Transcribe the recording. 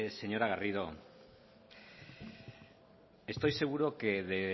señora garrido estoy seguro que